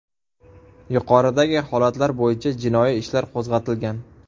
Yuqoridagi holatlar bo‘yicha jinoiy ishlar qo‘zg‘atilgan.